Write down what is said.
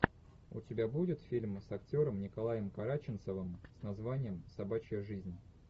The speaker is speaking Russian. у тебя будет фильм с актером николаем караченцовым с названием собачья жизнь